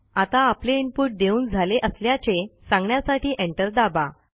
आता आपले इनपुट देऊन झाले असल्याचे सांगण्यासाठी एंटर दाबा